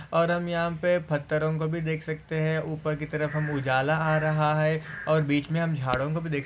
और यहाँ पे पत्थरों को भी देख सकते है ऊपर की तरफ उजाला आ रहा है और बीच मे हम झाड़ो को भी देख सकते है।